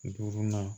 Duurunan